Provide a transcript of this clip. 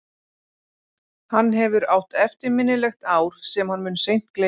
Hann hefur átt eftirminnilegt ár sem hann mun seint gleyma.